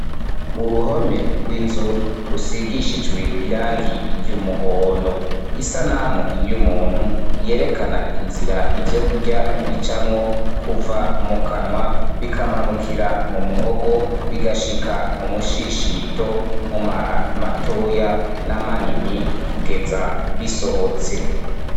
Uruhome rw'inzu rusigishijwe irangi ry'umuhondo isanamu y'umuntu yerekana inzira ivyokurya bicamwo kuva mu kanwa bikamanukira mu muhogo bigashika mu mushishito mu mara matoya n'amanini kugeza bisohotse.